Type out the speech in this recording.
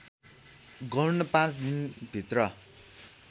गर्न पाँच दिनभित्र